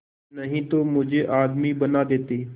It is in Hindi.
नहीं तो मुझे आदमी बना देते